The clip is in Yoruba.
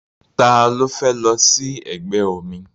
Ta ló fẹ́ lọ sí ẹgbẹ́ omi?